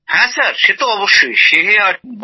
হ্যাঁ সেই আর কি